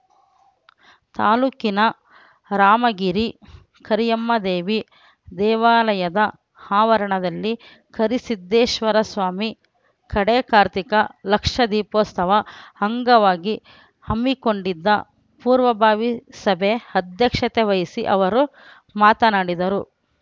ತಾಲೂಕಿನ ರಾಮಗಿರಿ ಕರಿಯಮ್ಮದೇವಿ ದೇವಾಲಯದ ಆವರಣದಲ್ಲಿ ಕರಿಸಿದ್ದೇಶ್ವರಸ್ವಾಮಿ ಕಡೇ ಕಾರ್ತಿಕ ಲಕ್ಷ ದೀಪೋತ್ಸವ ಅಂಗವಾಗಿ ಹಮ್ಮಿಕೊಂಡಿದ್ದ ಪೂರ್ವಭಾವಿ ಸಭೆ ಅಧ್ಯಕ್ಷತೆ ವಹಿಸಿ ಅವರು ಮಾತನಾಡಿದರು